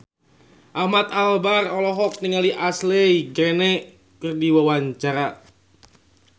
Ahmad Albar olohok ningali Ashley Greene keur diwawancara